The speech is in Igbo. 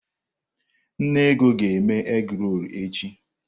Nne Ego ga eme egi-rol echi